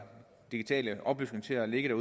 digitale oplysninger liggende